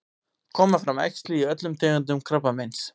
koma fram æxli í öllum tegundum krabbameins